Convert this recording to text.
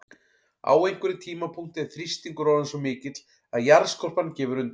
Á einhverjum tímapunkti er þrýstingur orðinn svo mikill að jarðskorpan gefur undan.